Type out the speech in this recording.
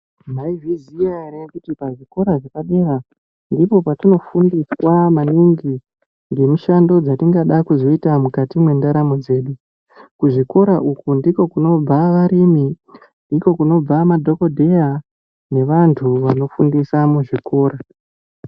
Maizviziya ere kuti pazvikora zvepadera ndipo patinofundiswa maningi ngemishando dzatingada kuzoita mukati mwendaro dzedu kuzvikora uku ndiko kunobva varimi ndiko kunobva madhokodheya nevantu vanofundisa muzvikora.